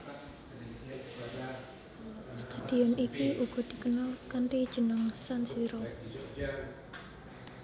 Stadion iki uga dikenal kanthi jeneng San Siro